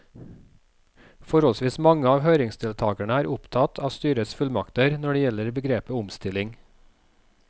Forholdsvis mange av høringsdeltakerne er opptatt av styrets fullmakter når det gjelder begrepet omstilling.